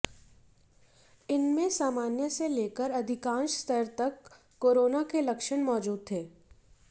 इनमें सामान्य से लेकर अधिकांश स्तर तक कोरोना के लक्षण मौजूद थे